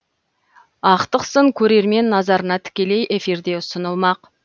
ақтық сын көрермен назарына тікелей эфирде ұсынылмақ